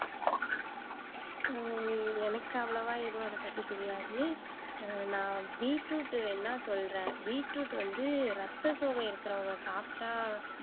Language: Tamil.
ஹம் எனக்கு அவ்வளவா எதுவும் அதைப் பத்தி தெரியாது ஹம் நான் பீட்ரூட் வேணும்னா சொல்றேன். பீட்ரூட் வந்து ரத்த சோகை இருக்கிறவங்க சாப்பிட்டா